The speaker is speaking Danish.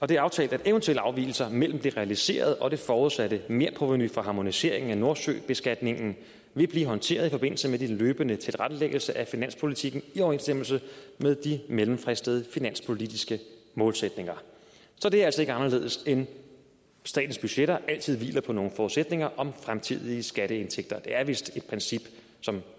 det er aftalt at eventuelle afvigelser mellem det realiserede og det forudsatte merprovenu for harmoniseringen af nordsøbeskatningen vil blive håndteret i forbindelse med den løbende tilrettelæggelse af finanspolitikken i overensstemmelse med de mellemfristede finanspolitiske målsætninger så det er altså ikke anderledes end at statens budgetter altid hviler på nogle forudsætninger om fremtidige skatteindtægter det er vist et princip som